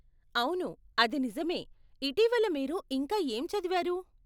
అవును అది నిజమే, ఇటీవల మీరు ఇంకా ఏం చదివారు?